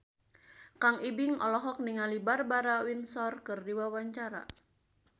Kang Ibing olohok ningali Barbara Windsor keur diwawancara